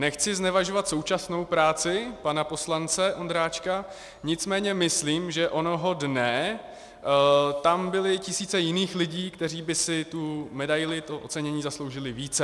Nechci znevažovat současnou práci pana poslance Ondráčka, nicméně myslím, že onoho dne tam byly tisíce jiných lidí, kteří by si tu medaili, to ocenění, zasloužili více.